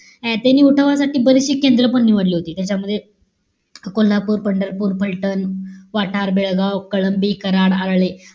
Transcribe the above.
ए त्यांनी उठावासाठी बरीचशी केंद्र पण निवडली होती. त्याच्यामध्ये कोल्हापूर, पंढरपूर, फलटण, वाटार, बेळगाव, कलंबी, कराड, आरळे,